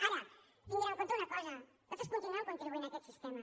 ara tinguin en compte una cosa nosaltres continuem contribuint a aquest sistema